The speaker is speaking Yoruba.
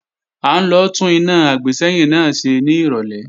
À ń lọ tún iná àgbésẹ́yìn náà ṣe ní ìrọ̀lẹ́